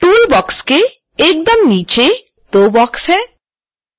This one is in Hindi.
tool box के एकदम नीचे दो बॉक्स हैं